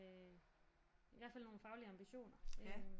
Øh i hvert fald nogle faglige ambitioner